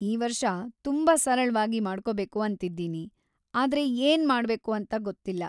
ಈ ವರ್ಷ ತುಂಬಾ ಸರಳ್ವಾಗಿ ಮಾಡ್ಕೋಬೇಕು ಅಂತಿದ್ದೀನಿ, ಆದ್ರೆ ಏನ್ ಮಾಡ್ಬೇಕು ಅಂತ ಗೊತ್ತಿಲ್ಲ.